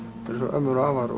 ömmur og afar